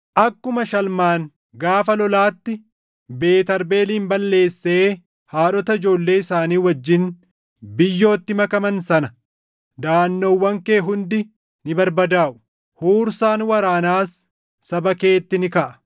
akkuma Shalmaan gaafa lolaatti Beet Arbeelin balleessee haadhota ijoollee isaanii wajjin biyyootti makaman sana, daʼannoowwan kee hundi ni barbadaaʼu; huursaan waraanaas saba keetti ni kaʼa.